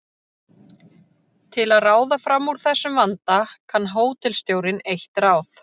Til að ráða fram úr þessum vanda kann hótelstjórinn eitt ráð.